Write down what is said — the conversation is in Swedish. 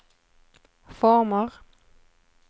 former